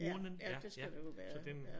Ja ja det skal det jo være ja